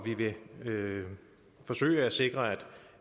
vi vil forsøge at sikre